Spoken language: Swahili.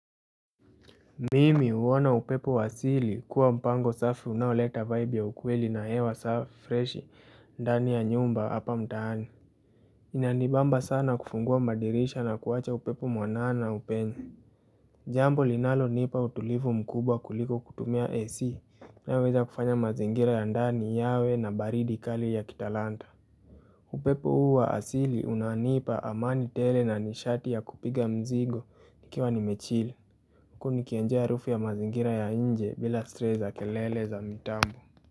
Mimi huona upepo wa asili kuwa mpango safi unaoleta vibe ya ukweli na hewa freshi ndani ya nyumba hapa mtaani Inanibamba sana kufungua madirisha na kuwacha upepo mwanana upenye Jambo linalo nipa utulivu mkubwa kuliko kutumia AC naweza kufanya mazingira ya ndani yawe na baridi kali ya kitalanta upepo huu wa asili unanipa amani tele na nishati ya kupiga mzigo nikiwa nime chill huku niki enjoy harufu ya mazingira ya nje bila stress za kelele za mitambo.